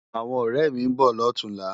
Áwòn òrè mi n bò lòtúnlá